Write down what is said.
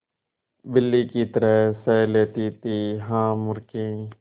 बिल्ली की तरह सह लेती थीहा मूर्खे